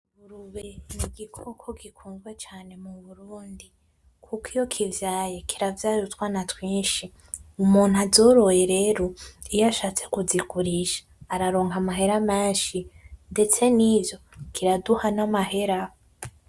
Ingurube nigikoko gikunzwe cane muburundi kuko iyo kivyaye kiravyara utwana twinshi, umuntu azoroye rero iyashatse kuzigurisha araronka amahera menshi ndetse nivyo kiraduha namahera.